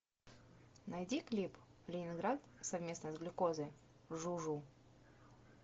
найди клип ленинград совместно с глюкозой жу жу